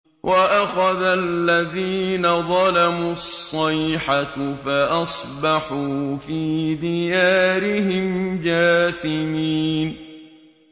وَأَخَذَ الَّذِينَ ظَلَمُوا الصَّيْحَةُ فَأَصْبَحُوا فِي دِيَارِهِمْ جَاثِمِينَ